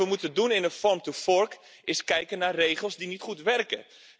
Wat we moeten doen in een Farm to Forkstrategie is kijken naar regels die niet goed werken.